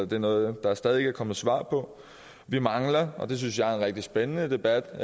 det er noget der stadig ikke er kommet svar på vi mangler at og det synes jeg er en rigtig spændende debat og